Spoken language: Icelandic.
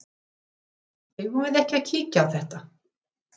Eigum við ekki að kíkja á þetta?